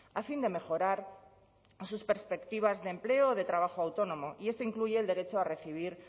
a fin de mejorar sus perspectivas de empleo de trabajo autónomo y esto incluye el derecho a recibir